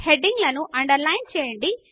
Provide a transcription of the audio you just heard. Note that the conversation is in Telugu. హెడింగ్ లను అండర్ లైన్ చేయండి